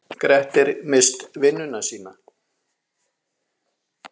Grettir misst vinnuna sína.